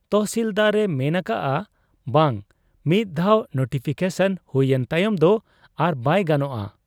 ᱛᱚᱦᱥᱤᱞᱫᱟᱨ ᱮ ᱢᱮᱱ ᱟᱠᱟᱜ ᱟ ᱵᱟᱝ, ᱢᱤᱫ ᱫᱷᱟᱣ ᱱᱳᱴᱤᱯᱷᱤᱠᱮᱥᱚᱱ ᱦᱩᱭ ᱮᱱ ᱛᱟᱭᱚᱢ ᱫᱚ ᱟᱨᱵᱟᱭ ᱜᱟᱱᱚᱜ ᱟ ᱾